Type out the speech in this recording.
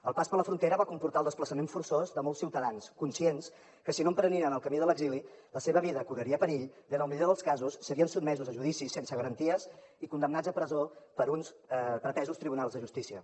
el pas per la frontera va comportar el desplaçament forçós de molts ciutadans conscients que si no en prenien el camí de l’exili la seva vida correria perill i en el millor dels casos serien sotmesos a judicis sense garanties i condemnats a presó per uns pretesos tribunals de justícia